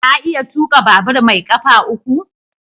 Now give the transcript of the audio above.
Ka iya tuka babur mai kafa uku?